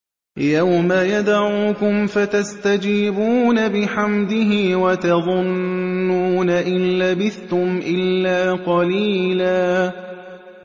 يَوْمَ يَدْعُوكُمْ فَتَسْتَجِيبُونَ بِحَمْدِهِ وَتَظُنُّونَ إِن لَّبِثْتُمْ إِلَّا قَلِيلًا